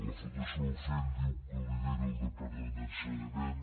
la fundació bofill diu que ho lideri el departament d’ensenyament